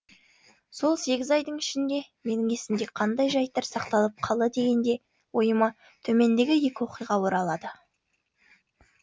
сол сегіз айдың ішінде менің есімде қандай жайттар сақталып қалды дегенде ойыма төмендегі екі оқиға оралады